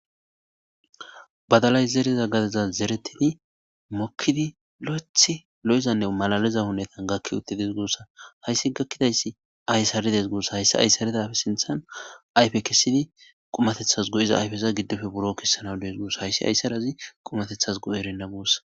badalay zereza gadaza zeretini mokkidi lo7eth lo7izanne malaliza hunetan gakki utti des gussa hayssi gakkidayssi ayssaredees guosa hayssi ayssaredafe sinthan ayfe kessidi qumatethas go7iza ayfeza giddofe buro kessana dees guosa hayssi ayssarazi qumatethas go7erenna guossa